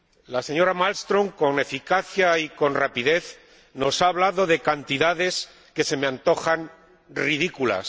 La señora Malmström, con eficacia y con rapidez, nos ha hablado de cantidades que se me antojan ridículas.